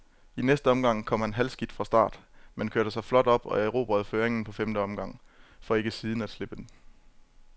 I næste omgang kom han halvskidt fra start, men kørte sig flot op og erobrede føringen på femte omgang, for ikke siden at slippe den.